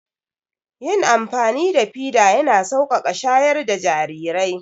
Yin amfani da fida ya na sauƙaƙa shayar da jarirai